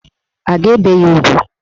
A ga-ebe ya ugwu?